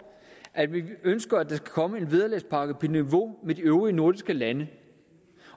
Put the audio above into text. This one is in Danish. at vi ønsker der skal komme en vederlagspakke på niveau med de øvrige nordiske lande